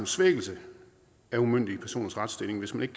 svækkelse af umyndige personers retsstilling hvis man